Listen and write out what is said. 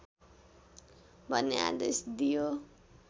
भन्ने आदेश दियो